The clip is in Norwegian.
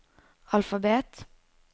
alfabet